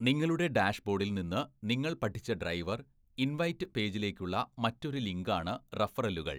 നിങ്ങളുടെ ഡാഷ്‌ബോഡിൽ നിന്ന് നിങ്ങൾ പഠിച്ച ഡ്രൈവർ ഇൻവൈറ്റ് പേജിലേക്കുള്ള മറ്റൊരു ലിങ്കാണ് റഫറലുകൾ.